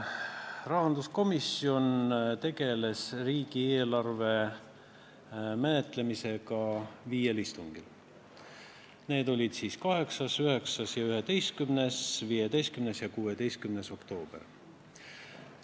Rahanduskomisjon tegeles riigieelarve menetlemisega viiel istungil: 8., 9., 11., 15. ja 16. oktoobril.